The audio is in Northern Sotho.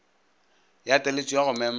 ya taletšo ya go mema